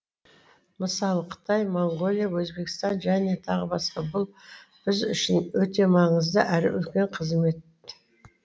мысалы қытай моңғолия өзбекстан және тағы басқа бұл біз үшін өте маңызды әрі үлкен қызмет